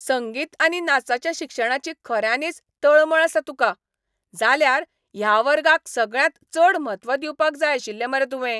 संगीत आनी नाचाच्या शिक्षणाची खऱ्यांनीच तळमळ आसा तुका, जाल्यार ह्या वर्गाक सगळ्यांत चड म्हत्व दिवपाक जाय आशिल्लें मरे तुवें.